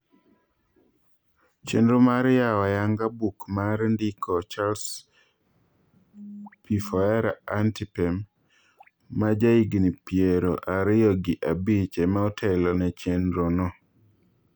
Chendro mar yao ayanga buk mar ndiko Charles Pfori Antipem majahigni piero ariyo gi abich emaotelone chendro no